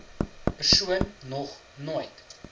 persoon nog nooit